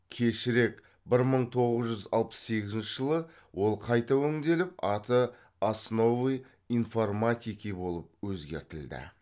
кешірек бір мың тоғыз жүз алпыс сегізінші жылы ол қайта өңделіп аты основы информатики болып өзгертілді